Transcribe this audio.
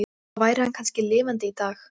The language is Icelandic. Grænir deplar sýna gabbró en gulleitir granófýr.